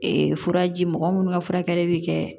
furaji mɔgɔ minnu ka furakɛli bɛ kɛ